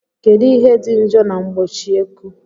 Kedu ihe dị njọ na mgbochieikuu?